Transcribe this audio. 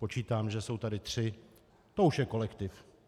Počítám, že jsou tady tři, to už je kolektiv.